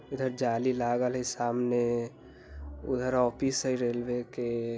इधर जाली लागल हई सामने उधर ओफिस हई रेलवे के।